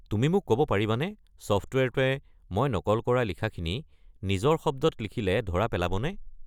তুমি মোক ক'ব পাৰিবানে ছফ্টৱেৰটোৱে মই নকল কৰা লিখাখিনি নিজৰ শব্দত লিখিলে ধৰা পেলাব নে?